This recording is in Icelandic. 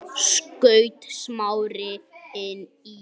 skaut Smári inn í.